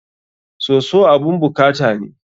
Soso abun bukata ne.